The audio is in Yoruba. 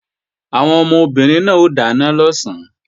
Àwọn obìnrin náà ó dáná lọ̀sán